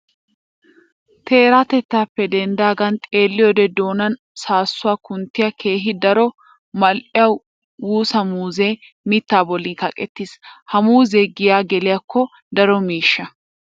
Teeratettaappe denddaagan xeelliyoode doonan saassuwa kunttiya keehi daro mal"iya woossa muuzzee mittaa bolli kaqettiis. Ha muuzzee giyaa geliyakko daro miishsha.